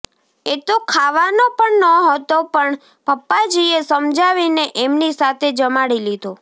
એ તો ખાવાનો પણ નહોતો પણ પપ્પાજીએ સમજાવીને એમની સાથે જમાડી લીધો